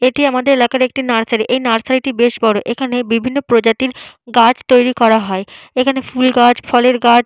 এটি আমাদের এলাকার একটি নার্সারী । এই নার্সারী টি বেশ বড়ো। এখানে বিভিন্ন প্রজাতির গাছ তৈরি করা হয়। এখানে ফুল গাছফলের গাছ --